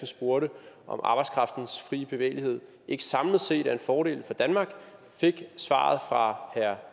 spurgte om arbejdskraftens frie bevægelighed ikke samlet set er en fordel for danmark fik det svar fra herre